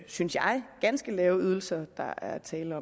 synes jeg ganske lave ydelser der er tale